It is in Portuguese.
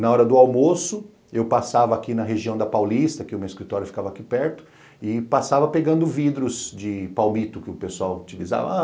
Na hora do almoço, eu passava aqui na região da Paulista, que o meu escritório ficava aqui perto, e passava pegando vidros de palmito que o pessoal utilizava.